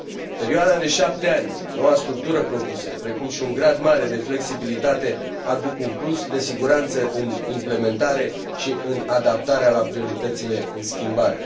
Perioada de 7 ani, noua structură propusă, precum și un grad mare de flexibilitate aduc un plus de siguranță în implementare și în adaptarea la prioritățile în schimbare.